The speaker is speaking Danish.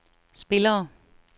spillerne